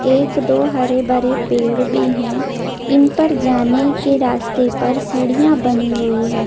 एक दो हरे भरे पेड़ भी है इनपर जाने के रास्ते पर सीडिया बनी हुई है।